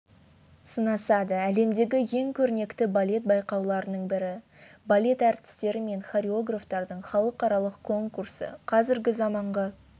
сынасады әлемдегі ең көрнекті балет байқауларының бірі балет әртістері мен хореографтарының халықаралық конкурсы қазіргі заманғы